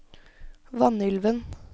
Vanylven